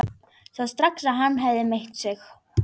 Sá strax að hann hafði meitt sig.